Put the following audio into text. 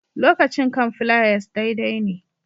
Lokacin kan fliers daidai ne